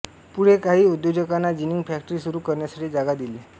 पुढे काही उद्योजकांना जिनिंग फॅक्टरी सुरू करण्यासाठी जागा दिली